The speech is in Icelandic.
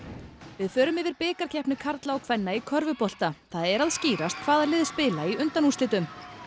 við förum yfir bikarkeppni karla og kvenna í körfubolta það er að skýrast hvaða lið spila í undanúrslitum